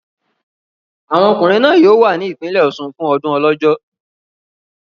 Àwọn ọkùnrin náà yóò wà ní ìpínlẹ̀ Ọ̀ṣun fún ọdún Ọlọ́jọ́.